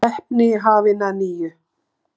Keppni hafin að nýju